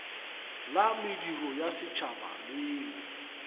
la mediro ya setšhaba leo